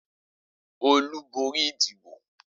Olú borí ìdìbò?